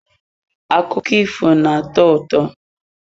Akụkọ ifo na-atọ ụtọ.